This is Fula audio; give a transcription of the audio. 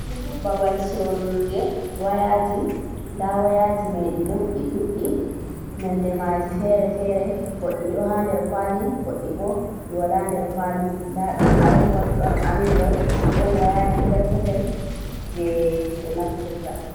Ɓaɓal sorurɗe wayaji. Nɗa wayaji mai ɗi ɗon ɗi ɗuɗɗi. Nonɗe maji fere-fere. Goɗɗi ɗo ha nɗer kawali, goɗɗi ɓo ɗi wala nɗer kawali. Nɗa ɗon Aipon, ɗon anɗurai, ɗon wayaji perpetel je ɓe naftirta.